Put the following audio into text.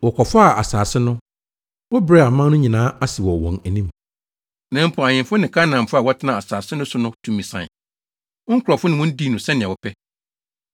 Wɔkɔfaa asase no. Wobrɛɛ aman no nyinaa ase wɔ wɔn anim. Na mpo, ahemfo ne Kanaanfo a wɔtenaa asase no so no tumi sae. Wo nkurɔfo ne wɔn dii no sɛnea wɔpɛ.